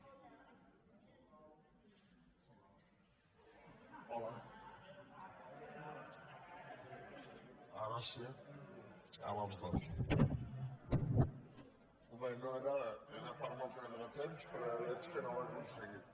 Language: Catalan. bé era per no perdre temps però ja veig que no ho he aconseguit